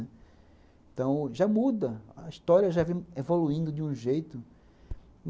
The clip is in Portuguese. Então já muda, a história já vem evoluindo de um jeito.